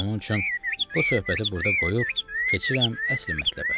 Onun üçün bu söhbəti burda qoyub keçirəm əsli mətləbə.